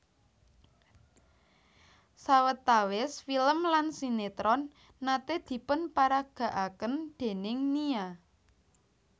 Sawetawis film lan sinetron nate dipunparagakaken déning Nia